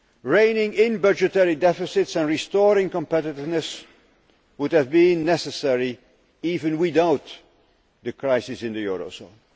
Reining in budgetary deficits and restoring competitiveness would have been necessary even without the crisis in the eurozone.